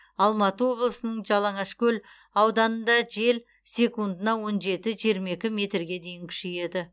алматы облысының жалаңашкөл ауданында жел секундына он жеті жиырма екі метрге дейін күшейеді